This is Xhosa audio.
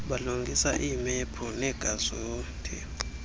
balungisa iimaphu neegazethi